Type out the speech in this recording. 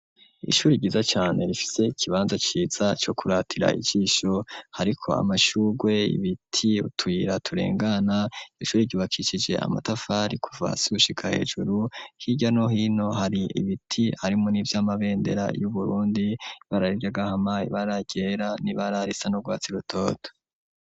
Ishuri ryiza cane rifise ikibanza ciza co kuratira ijisho hariko amashurwe ibiti utuyira turengana ishuri ryubakishije amatafari kuva hasi gushika hejuru hirya no hino hari ibiti harimwo n'ivy'amabendera yu Burundi ibara ry'agahama ibara ryera ibara risa n'urwatsi rutoto.